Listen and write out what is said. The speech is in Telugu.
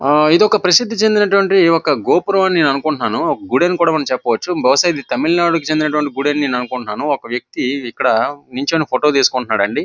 ప్రసిద్ధి చెందిన గోపురం అనుకుంటున్నాను. ఒక గుడి అని చెప్పుకొవచ్చు. బహుషా తమిళనాడుకి చెందిన గుడి అనుకుంటున్నా. ఇక్కడ ఒక వక్తి నిల్ఫోచొని ఫోటో తీసుకుంటున్నాడు అండి.